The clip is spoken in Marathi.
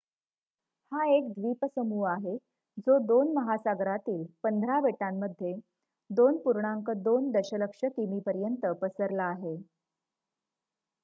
हा एक द्वीपसमूह आहे जो 2 महासागरांतील 15 बेटांमध्ये 2.2 दशलक्षकिमीपर्यंत पसरला आहे